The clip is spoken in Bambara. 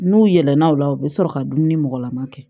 N'u yɛlɛnna o la u bɛ sɔrɔ ka dumuni mɔgɔlama kɛ